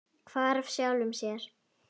Hvarf sjálfum sér.